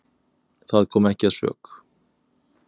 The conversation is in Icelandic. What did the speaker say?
Það kom ekki að sök.